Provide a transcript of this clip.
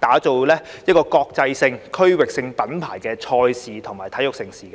打造國際性、區域性品牌賽事和體育盛事。